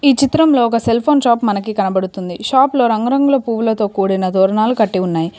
ఈ చిత్రంలో ఒక సెల్ఫోన్ షాప్ మనకి కనబడుతుంది షాప్ లో రంగురంగుల పువ్వులతో కూడిన తోరణాలు కట్టి ఉన్నాయి.